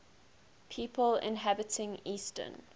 people inhabiting eastern